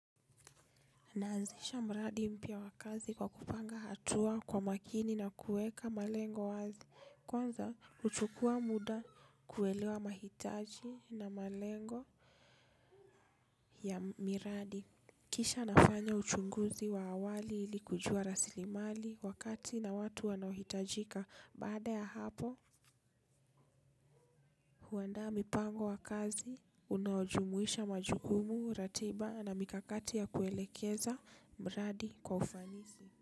Naanzisha mradi mpya wa kazi kwa kupanga hatua kwa makini na kuweka malengo wazi, kwanza huchukua muda kuelewa mahitaji na malengo ya miradi. Kisha nafanya uchunguzi wa awali ili kujua rasilimali wakati na watu wanao hitajika baada ya hapo huandaa mipango wa kazi unaojumuisha majukumu ratiba na mikakati ya kuelekeza mradi kwa ufanisi.